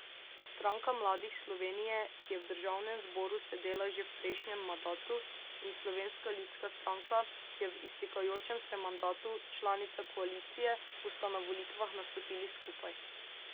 Stranka mladih Slovenije, ki je v državnem zboru sedela že v prejšnjem madatu, in Slovenska ljudska stranka, ki je v iztekajočem se mandatu članica koalicije, bosta na volitvah nastopili skupaj.